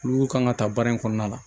Olu kan ka ta baara in kɔnɔna la